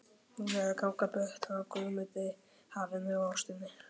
Hún er að ganga burt frá Guðmundi, hafinu og ástinni.